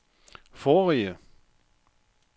forrige